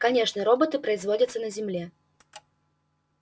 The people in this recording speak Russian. конечно роботы производятся на земле